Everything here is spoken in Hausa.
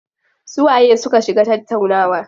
Su waye su ka shiga tattaunawa?